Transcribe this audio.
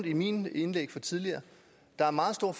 i mine indlæg tidligere at der er meget stor